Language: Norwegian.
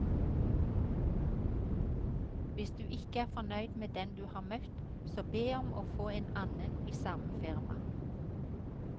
Hvis du ikke er fornøyd med den du har møtt, så be om å få en annen i samme firma.